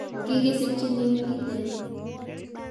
Kigisikchinin Iten